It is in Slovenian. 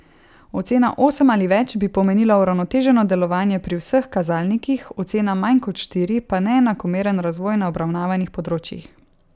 Ocena osem ali več bi pomenila uravnoteženo delovanje pri vseh kazalnikih, ocena manj kot štiri pa neenakomeren razvoj na obravnavanih področjih.